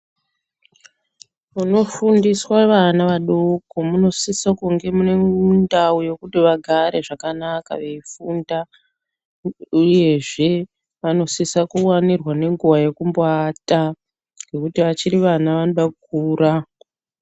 Munofundiswa vana vadoko munosisa kunge muine ndau yekuti vagare zvakanaka veifunda, uyezve vanosisa kuvanirwa ngenguva yekumbo ata nekuti achiri vana anoda kukura.